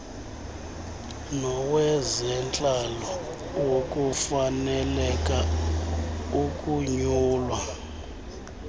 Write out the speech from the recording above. nowezentlalo wokufaneleka ukunyulwa